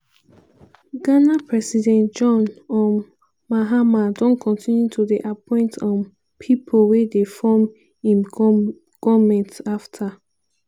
ghana president john um mahama don continue to dey appoint um pipo wey dey form im goment afta